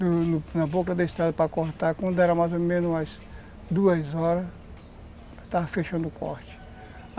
Na boca da estrada, para cortar, quando era mais ou menos umas duas horas, estava fechando o corte.